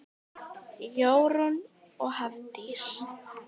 Jórunn og Hafdís.